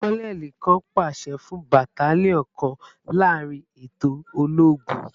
Kononeli kan paṣẹ fun battalion kan laarin eto ologun